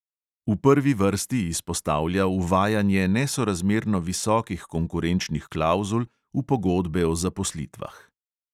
V prvi vrsti izpostavlja uvajanje nesorazmerno visokih konkurenčnih klavzul v pogodbe o zaposlitvah.